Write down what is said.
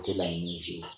A tɛ laɲini f'i ye